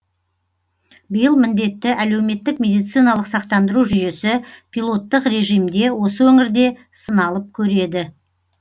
биыл міндетті әлеуметтік медициналық сақтандыру жүйесі пилоттық режимде осы өңірде сыналып көреді